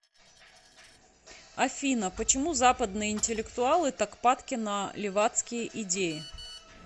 афина почему западные интеллектуалы так падки на левацкие идеи